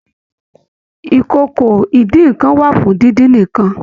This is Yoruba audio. ìkòkò idínnkan wà fún díndín nìkan.